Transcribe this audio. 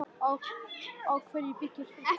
Á hverju byggir fréttamatið?